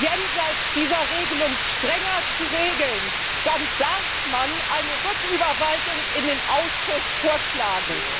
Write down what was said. jenseits dieser Regelung strenger zu regeln, dann darf man eine Rücküberweisung in den Ausschuss vorschlagen.